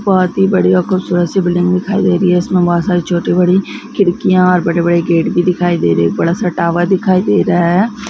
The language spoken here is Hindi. बहुत ही बढ़िया खूबसूरत सी बिल्डिंग दिखाई दे रही है इसमें बहुत सारी छोटी बड़ी खिड़कियां बड़े-बड़े गेट भी दिखाई दे रहा है और बड़ा सा टावर दिखाई दे रहा हैं।